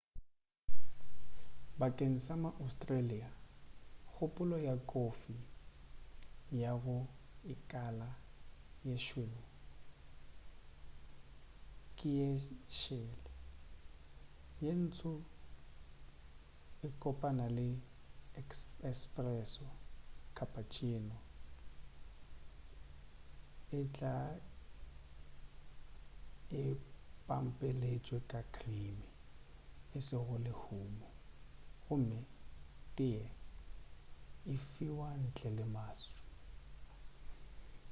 bakeng sa ma-australia kgopolo ya kofi ya go 'ikala ye šweu' ke ye šele. ye ntsho ye kopana ke 'espresso' cappucciono e tla e pampeletšwe ka krime e sego lehulo gomme teye e fiwa ntle le maswi